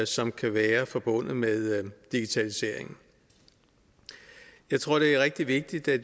som kan være forbundet med digitalisering jeg tror det er rigtig vigtigt at